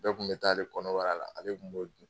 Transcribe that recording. Bɛɛ kun bɛ taa ale kɔnɔbara la, ale kun b'o dun.